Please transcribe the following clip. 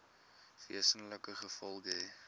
wesenlike gevolge hê